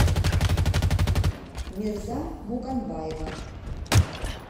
мерза муканбаева